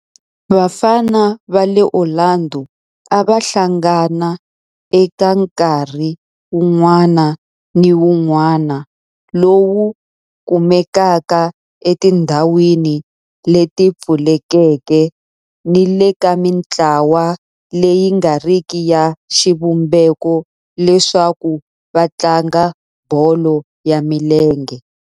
Vafana va le Orlando a va hlangana eka nkarhi wun'wana ni wun'wana lowu kumekaka etindhawini leti pfulekeke ni le ka mintlawa leyi nga riki ya xivumbeko leswaku va tlanga bolo ya milenge.